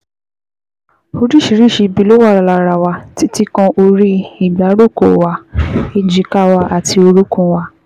Oríṣiríṣi ibi ló wà lára wa, títí kan orí ìgbáròkó wa, èjìká wa àti orúnkún wa